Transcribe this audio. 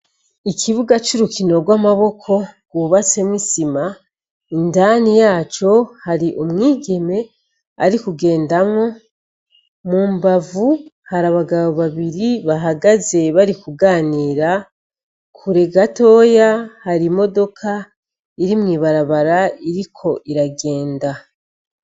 Ikibuga c'urukino rw'amaboko, cubatse n'isima, indani yaco , hari umwigeme ari kugendamwo. Mu mbavu, hari abagabo babiri bahagaze bari kuganira, kure gatoya , hari imodoka iri mw'ibarabara iriko iragenda.